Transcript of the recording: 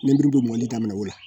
lenburu bɛ mɔni daminɛ o la.